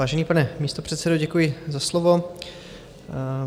Vážený pane místopředsedo, děkuji za slovo.